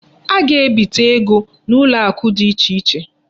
A ga-ebite ego n'ụlọakụ dị ichè iche.